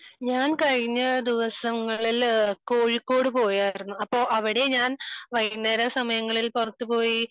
ഞാൻകഴിഞ്ഞ ദിവസങ്ങളിൽ കോഴിക്കോട് പോയിരുന്നു.